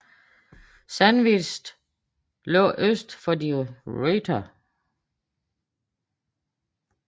Sandwich lå øst for De Ruyter